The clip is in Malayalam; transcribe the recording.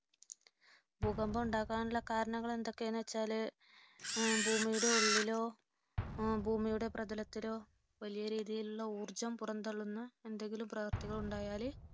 ഭൂകമ്പം ഉണ്ടാകാനുള്ള കാരണങ്ങൾ എന്തൊക്കെയാണ് വച്ചാല് ഭൂമിയുടെ ഉള്ളിലോ ഭൂമിയുടെ പ്രതലത്തിലോ വലിയരീതിയിലുള്ള ഊർജ്ജം പുറന്തള്ളുന്ന എന്തെങ്കിലും പ്രവൃത്തികളുണ്ടായാല്